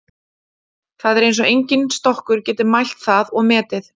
Það er eins og enginn stokkur geti mælt það og metið.